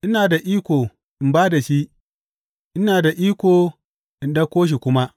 Ina da iko in ba da shi, ina da iko in ɗauko shi kuma.